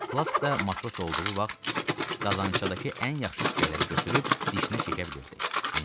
Flaşk da matros olduğu vaxt qazançadakı ən yaxşı tikələri götürüb dişinə çəkə bilirdi.